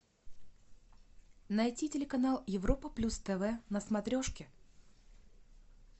найти телеканал европа плюс тв на смотрешке